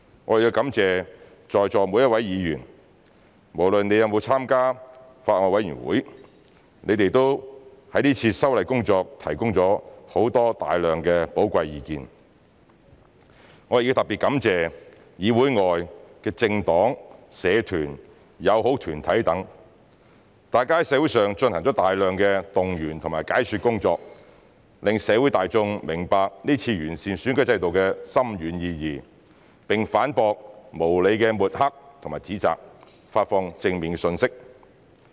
我亦要感謝在座每一位議員，無論你們有沒有參加法案委員會，你們都為這次修例工作提供了很多寶貴的意見；我亦要特別感謝議會外的政黨、社團、友好團體等，大家在社會上進行了大量動員和解說工作，讓社會大眾明白這次完善選舉制度的深遠意義，並反駁無理的抹黑和指責，發放正面信息。